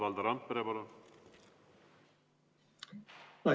Valdo Randpere, palun!